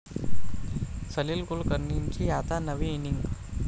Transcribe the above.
सलील कुलकर्णींची आता नवी इनिंग